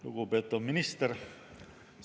Lugupeetud minister!